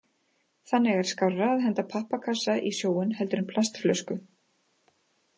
Þannig er skárra að henda pappakassa í sjóinn heldur en plastflösku.